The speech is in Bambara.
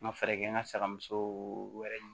N ka fɛɛrɛ kɛ n ka sagamuso wɛrɛ